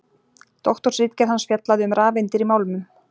Doktorsritgerð hans fjallaði um rafeindir í málmum.